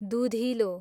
दुधिलो